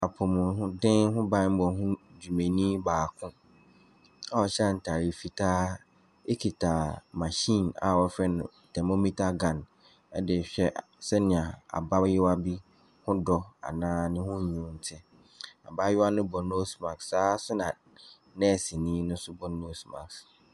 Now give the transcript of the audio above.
Apɔmuden ho bammɔ ho dwumani baako a ɔhyɛ ataade fitaa kita machine a wɔfrɛ no thermometer gun de rehwɛ sɛdeɛ abaayewa bi ho dɔ anaa ne ho wunu te. Abaayewa no bɔ nose mask, saa nso na nɛɛseni no so bɔ nose mask.